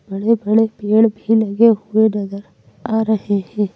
बड़े-बड़े पेड़ भी लगे हुए नजर आ रहे हैं।